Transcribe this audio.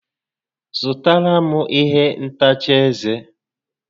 Zụtara m ihe ntacha ezé